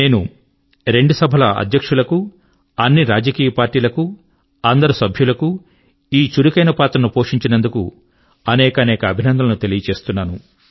నేను రెండు సభల సభాధ్యక్షుల కు అన్ని రాజకీయ పార్టీల కు అందరు సభ్యుల కు ఈ చురుకైన పాత్రకై ఈ సందర్భం గా అనేకానేక అభినందనల ను తెలియ చేస్తున్నను